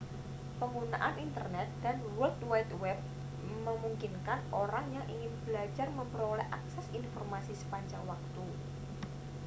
penggunaan internet dan world wide web memungkinkan orang yang ingin belajar memperoleh akses informasi sepanjang waktu